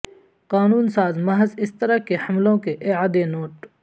قانون ساز محض اس طرح کے حملوں کے اعادے نوٹ